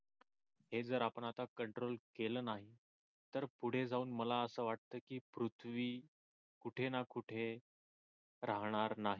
हे जर आपण आता कंट्रोल केल नाही तर पुढे जाऊन मला आस वाटतंय की पृथ्वी कुठे ना कुठे राहणार नाही.